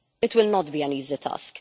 It will not be an easy task.